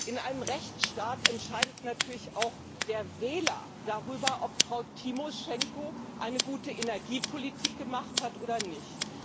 In einem Rechtsstaat entscheidet natürlich auch der Wähler darüber, ob Frau Tymoschenko eine gute Energiepolitik gemacht hat oder nicht.